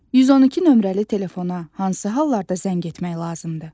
112 nömrəli telefona hansı hallarda zəng etmək lazımdır?